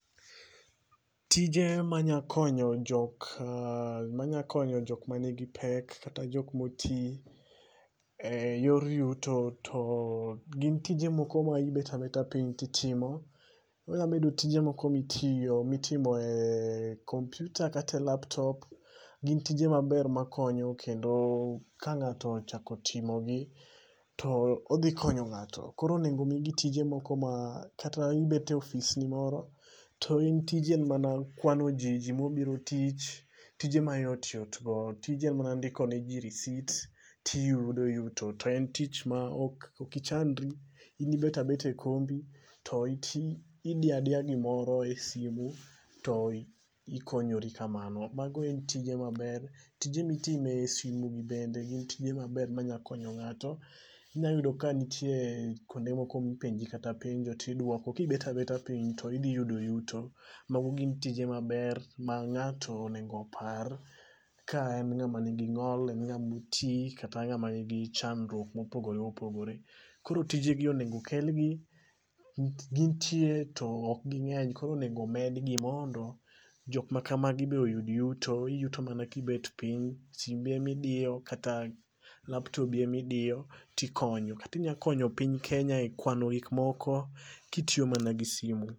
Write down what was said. Tije ma nya konyo jok ma nya konyo jok ma ni gi pek kata jok ma oti e yor yuto to gin tije moko ma ibet abeta piny ti itimo. Onya bet tije ma itiyo ma itime e kompyta kata laptop. Gin tije ma ber ma konyo kendo ka ng'ato ochako timo gi to odhi konyo ng'ato koro onego mi gi tije ma kata ibet e ofis ni moro to in tiji en ma na kwano ji ji ma obiro tich, tije ma yot yot go. Tije mar ndiko ne ji risit ti iyudo yuto. To en tich ma ok ichandri go in bet abeta e kombi ti itiyo, idiyo adiya gi moro e simo. To ni konyri kamano. Ma go en tije ma ber, tije mi itimo e simo gi bende gi e ma ber ma inya konyo ng'ato inya yudo ka nitie kuonde ma ipenji kata penjo to idwoko ki ibet abeta piny to idhi yudo yuto. Ma go gi n tije ma ber ma ng'ato onego opar ka en ng'a ma ni gi ng'ol, en ng'a ma oti kata ng'awa ni gi chandruok ma opogore opogore. Koro tije gi onego kel gi nikech gin tije to ok gi ng'eny koro onego med gi mondo jok ma kama gi be iyud yuto, yuto mana ki ibet piny simbi ema idiyo kata laptobi ni ema idiyo ti ikonyo kata inya konyo piny Kenya e kwano gik moko ki itiyo mana gi simo.